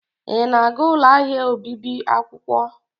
Ị na-aga ụlọ ahịa obibi akwụkwọ?